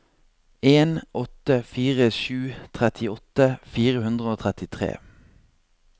en åtte fire sju trettiåtte fire hundre og trettitre